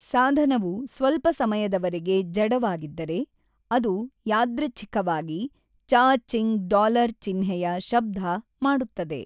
ಸಾಧನವು ಸ್ವಲ್ಪ ಸಮಯದವರೆಗೆ ಜಡವಾಗಿದ್ದರೆ, ಅದು ಯಾದೃಚ್ಛಿಕವಾಗಿ 'ಚಾ-ಚಿಂಗ್ ಡಾಲರ್‌ ಚಿಹ್ನೆಯ ಶಬ್ಧ ಮಾಡುತ್ತದೆ.